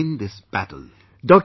We shall win this battle